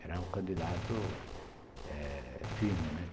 Era um candidato eh firme, né.